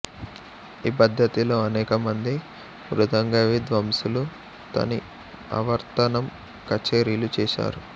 ఈ పద్దతిలో అనేక మంది మృదంగవిద్వాంసులు తని ఆవర్తనం కచేరీలు చేశారు